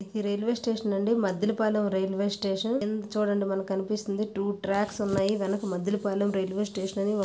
ఈ railway station Maddelapalem railway station కింద చూడండి మనకి కనిపిస్తుంది టూ ట్రాక్స్ ఉన్నాయి వెనుక మద్దెలపాలెం రైల్వే స్టేషన్ --